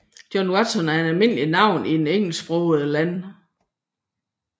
John Watson er et almindeligt navn i engelsksprogede lande